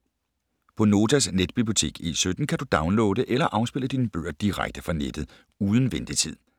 På Notas netbibliotek E17 kan du downloade eller afspille dine bøger direkte fra nettet uden ventetid.